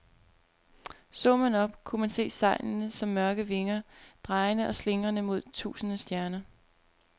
Så man op, kunne man se sejlene som mørke vinger, drejende og slingrende mod tusinde stjerner.